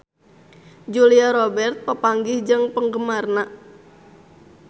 Julia Robert papanggih jeung penggemarna